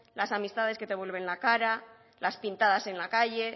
las amistades que te vuelven la cara las pintadas en la calle